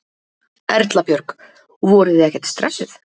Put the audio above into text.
Erla Björg: Voruð þið ekkert stressuð?